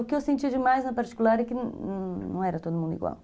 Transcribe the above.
O que eu senti demais na particular é que não era todo mundo igual.